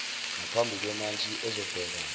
naphambi kwemantshi ezobheka